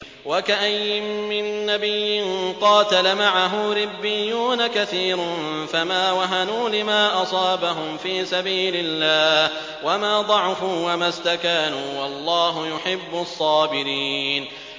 وَكَأَيِّن مِّن نَّبِيٍّ قَاتَلَ مَعَهُ رِبِّيُّونَ كَثِيرٌ فَمَا وَهَنُوا لِمَا أَصَابَهُمْ فِي سَبِيلِ اللَّهِ وَمَا ضَعُفُوا وَمَا اسْتَكَانُوا ۗ وَاللَّهُ يُحِبُّ الصَّابِرِينَ